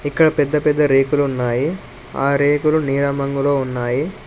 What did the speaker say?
ఇక్కడ పెద్ద పెద్ద రేకులు ఉన్నాయి ఆ రేకులు నీలం రంగులో ఉన్నాయి.